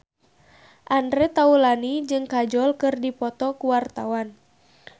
Andre Taulany jeung Kajol keur dipoto ku wartawan